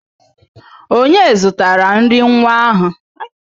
Onye zụtara nri nwa ahụ?